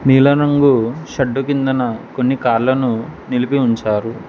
నీలం రంగు షడ్డు కిందన కొన్ని కార్ లను నిలిపి ఉంచారు.